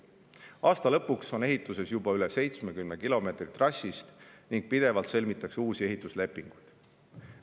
Aasta lõpuks on ehituses juba üle 70 kilomeetri trassist ning pidevalt sõlmitakse uusi ehituslepinguid.